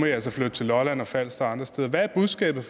i altså flytte til lolland og falster og andre steder hvad er budskabet